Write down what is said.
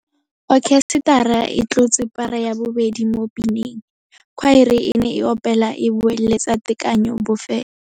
Okhesetara e tlotse para ya bobedi mo pineng. Khwaere e ne e opela e boeletsa tekanyô bofelô.